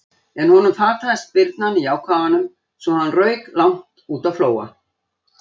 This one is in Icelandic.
En honum fataðist spyrnan í ákafanum svo hann rauk langt út á Flóa.